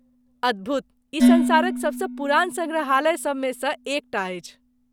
अद्भुत! ई सँसारक सबसँ पुरान सङ्ग्रहालयसभ मे सँ एक टा अछि।